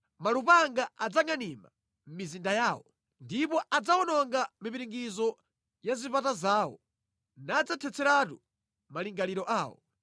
Malupanga adzangʼanima mʼmizinda yawo, ndipo adzawononga mipiringidzo ya zipata zawo nadzathetseratu malingaliro awo.